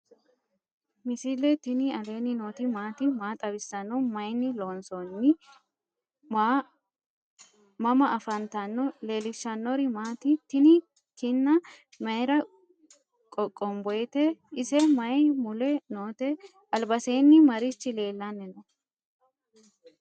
misile tini alenni nooti maati? maa xawissanno? Maayinni loonisoonni? mama affanttanno? leelishanori maati? tini kinna mayira qoqonboyite? ise mayi mule noote? albasenni marichi lelanni no?